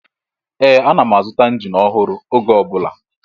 Ee! Ana m azụta injin ọhụrụ oge ọ bụla.